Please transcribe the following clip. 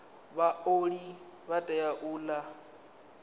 vhaoli vha tea u ola